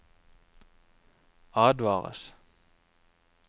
advares